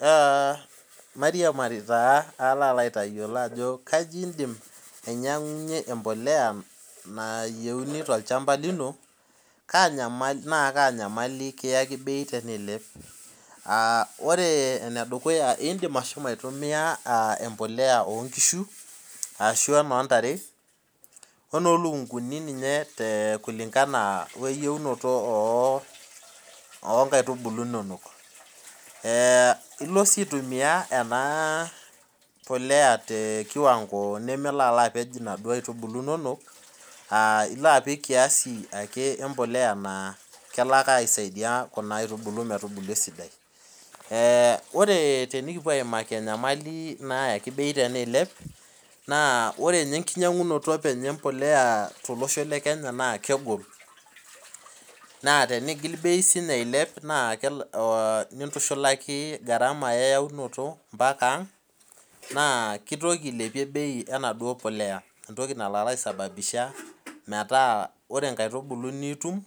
Aa mairiamari palo aitayiolo aajo kaidim ainyangunyie empolea tolchamba lino na kaanyamali kiaki bei teniilep naore enedukuya naindim aahomo aitumia empolea onkishu ashu enontare enoolukunguni kulingana eyiounoto onkaitubulu inonok ilo si aitumia ena polea tebkiwango nememelo apej nakitubulu inonok ilo apik kiase empolea nakelo ake aisaidia kuna aitubulu metubulu esidai ore pekipuo aimaki enkilepuno ebei teneilep na ore bei embolea tolosho le kenya na kegol na tenigil bei ailep nintushulaki garama eyaunoto ambakaa aang na kitoki ailepie bei enaduo polea metaa ore nkaitubulu nitum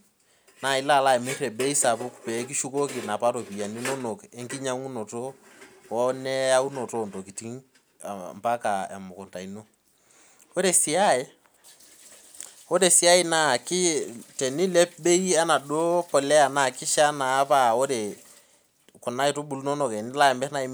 na ilo amir tebimei sapuk nikishukoki nkaitubulu oneyaunonoto ontokitin emukunda ino ore si aai na tenilep bei enaduo polea na kishaa paa ore kuna aitubulu inonok tenilo amir naa